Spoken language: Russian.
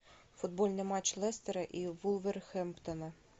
футбольный матч лестера и вулверхэмптона